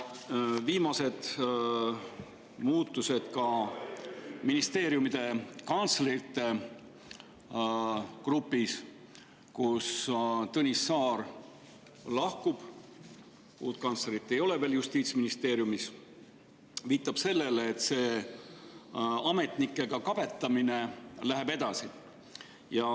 Viimased muutused ka ministeeriumide kantslerite, kust Tõnis Saar lahkub – uut kantslerit Justiitsministeeriumis veel ei ole –, viitab sellele, et see ametnikega kabetamine läheb edasi.